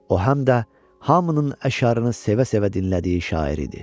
O, həm də hamının əşarını sevə-sevə dinlədiyi şair idi.